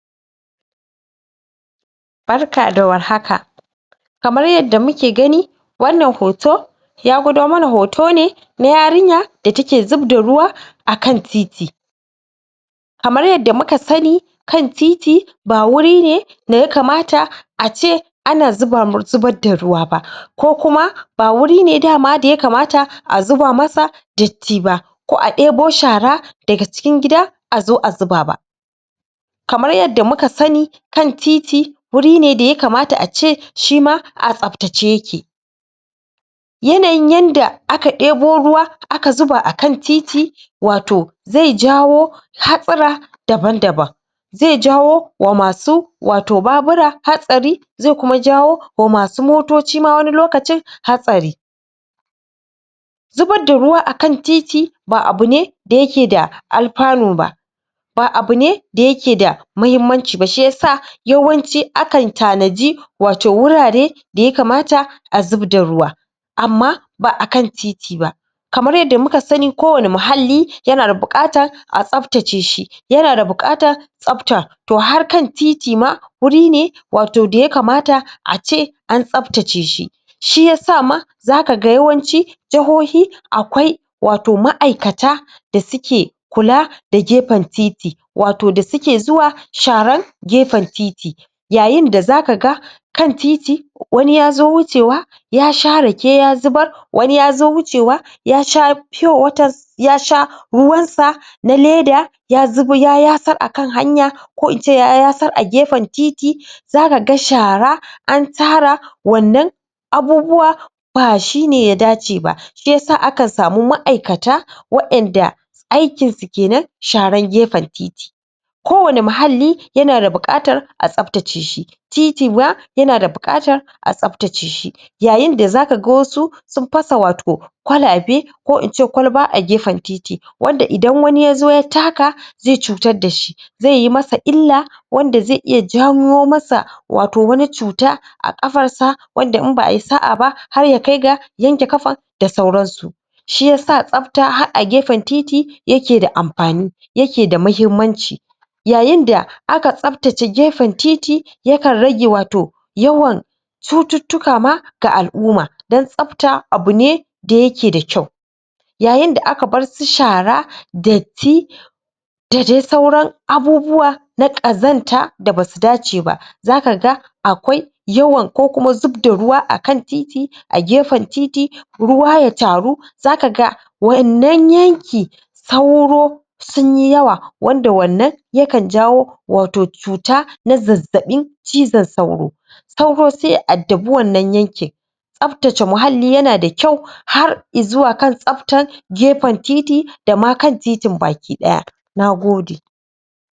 Barka da warhaka kamar yadda muke gani wana hoto yagudo mana hotone na yarinya da take zub da ruwa akan titi kamar yadda muka sani kan titi ba wurine da yakamata ace ana zuba, zubar da ruwa ba ko kuma ba wuri ne dama daya kamata a zuba masa dati ba ko a dibo shara da ga cikin gida azo a zubaba kamar yadda muka sani kan titi gurine daya kamata ace shima a tsab tace yake yanayin yanda aka ɗibo ruwa aka zuba akan titi wato zai jawo haɓura daban-daban zai jawo wa masu wato babura hatsari zai kuma jawo wa masu motoci ma wani lokacin hatsari zubar da ruwa akan titi ba abune da yake da Alfanu ba ba abune da yake da muhimanci ba shiyasa yawanci akan tanadi wato wurare da yakamata azub da ruwa amman ba'a kan titi ba kamar yadda muka sani ko wane muhali yanada bukata tsab tace shi yana da bukatar tsabtar harkan titi ma wurine wato da ya kamata ace an tsab tace shi shiyasa ma zaka ga yawanci jahohi akwai wato ma'aikata da suke kula da gefen titi wato da suke zuwa sharan gefan titi yayin da zaka ga kan titi wani yazo wuce wa ya sha rake ya zubar wani yazo wucr wa yasha fiyo waters yasha ruwan sa na laida ya zuba, ya yasar akan hanya ko ince ya yasar a gefen titi zaka ga shara antara wana abubuwa ba shine yada ce ba shiyasa akan samu ma'aikata wa inda aikin su kena sharan gefan titi ko wani muhali yana da bukatar a tsab tace shi titi ma yanada bukatar a tsab tace shi yayin da zaka wasu sun fasa wato kwalaɓe ko ince kwalba a gefan titi wanda idan wani yazo ya taka zai cutar dashi zai ye masa ila wanda za iya jawo masa wato wani cuta a kafar sa wanda in ba'a yi sa'a ba har yakai ga yanke kafan da sauran su shiyasa tsab, har a gefan titii yake da amfani yake da muhimmanci ya yinda aka tsab tace gefan titi yakan rage wato yawan cututuka ma ga al umma dan tsab ta abune da yake da kyau yayin da aka bar su shara dati da dai sauran abubuwa na kazanta da basu dace ba zaka ga akwai yawan ko kuma zub da ruwa akan titi a gefan titi ruwa ya taru zaka ga waina yanki sauro sunyi yawa wanda wana yakan jawo wato cuta na zazzabi cizon sauro sauro sai ya adabi wana yanki tsab tace muhali yana da kyau har izuwa kan tsabtar gefan titi dama kan titin bake daya !NAGODE